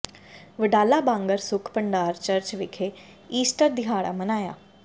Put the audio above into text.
Wadala Bangar Sukh Bhandar church ਵਿਖੇ Easter ਦਿਹਾੜਾ ਮਨਾਇਆ